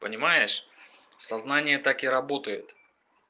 понимаешь сознание так и работает